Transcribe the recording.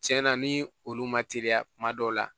Tiɲɛ na ni olu ma teliya kuma dɔw la